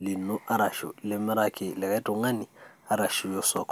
lino, arashu limiraki likae tung'ani, arashu iya osoko.